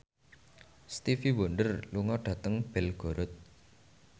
Stevie Wonder lunga dhateng Belgorod